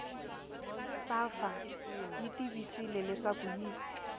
safa yi tivisile leswaku yi